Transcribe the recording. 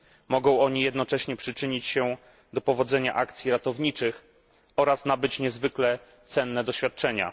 Mogą oni jednocześnie przyczynić się do powodzenia akcji ratowniczych oraz nabyć niezwykle cenne doświadczenia.